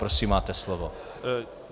Prosím, máte slovo.